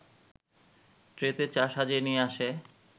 ট্রেতে চা সাজিয়ে নিয়ে আসে